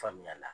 Faamuyali